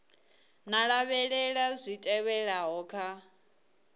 nga lavhelela zwi tevhelaho kha